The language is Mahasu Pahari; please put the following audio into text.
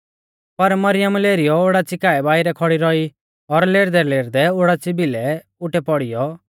पर मरियम लेरीयौ ओडाच़ी काऐ बाइरै खौड़ी रौई और लेरदैलेरदै ओडाच़ी भिलै उटै पौड़ीयौ